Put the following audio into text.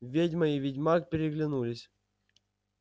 ведьма и ведьмак переглянулись